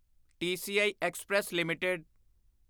TCI express limited